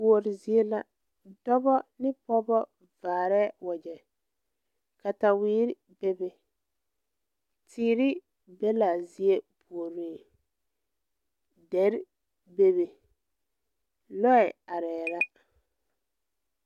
Kuore zie la dɔbɔ ne pɔɔbɔ vaarɛɛ wagyɛ katawerre bebe teere be laa zie puoriŋ derre bebe lɔɛ areɛɛ la.